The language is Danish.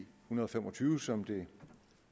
hundrede og fem og tyve som det